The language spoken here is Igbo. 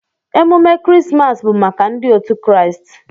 Emume krismas bu maka ndi otu kraist.